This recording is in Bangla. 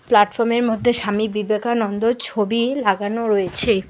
প্ল্যাটফর্মের মধ্যে স্বামী বিবেকানন্দর ছবি লাগানো রয়েছে।